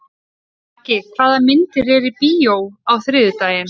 Maggi, hvaða myndir eru í bíó á þriðjudaginn?